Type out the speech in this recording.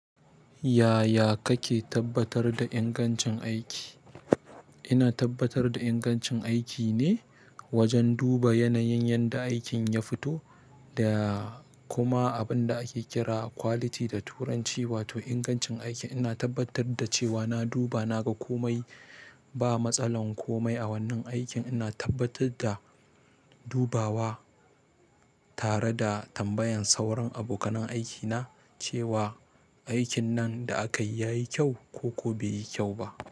Yaya kake tabbatar da ingancin aiki? Ina tabbatar da ingancin aiki ne wajen duba yanayin yanda aikin ya fito da, kuma abin da ake kira quality da turanci wato ingancin aiki. Ina tabbatar da cewa na duba na ga komai ba matsalan komai a wannan aikin, ina tabbatar da dubawa tare da tambayan sauran abokanai aikina cewa, aikin nan da aka yi ya yi kyau ko, ko bai yi kyau ba,